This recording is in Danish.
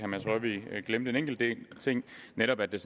mads rørvig glemte en enkelt ting netop at det